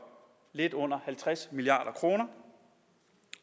lidt under halvtreds milliard kr